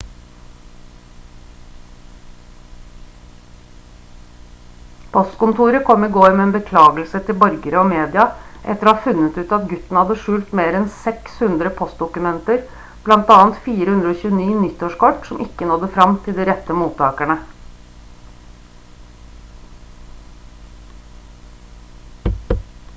postkontoret kom i går med en beklagelse til borgere og media etter å ha funnet ut at gutten hadde skjult mer enn 600 postdokumenter blant annet 429 nyttårskort som ikke nådde frem til de rette mottakerne